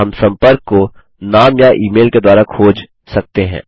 हम सम्पर्क को नाम या ई मेल के द्वारा खोज सकते हैं